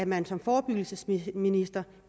man som forebyggelsesminister